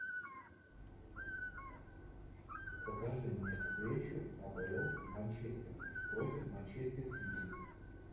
покажи мне встречу апл манчестер против манчестер сити